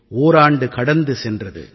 ஓராண்டு கடந்து சென்றது